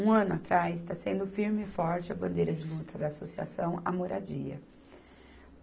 Um ano atrás, está sendo firme e forte a bandeira de luta da Associação, a moradia.